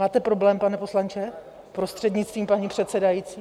Máte problém, pane poslanče, prostřednictvím paní předsedající?